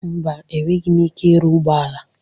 Mba, enweghị m ike ịrụ ụgbọ ala.